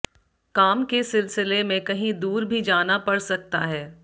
काम के सिलसिले में कहीं दूर भी जाना पड़ सकता है